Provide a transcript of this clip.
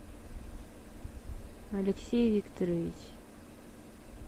алексей викторович